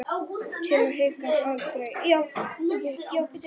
Til að hika aldrei.